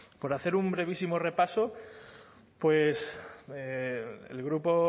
por hacer un brevísimo repaso pues el grupo